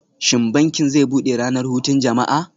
Shin bankin zai bude ranar hutun jama'a?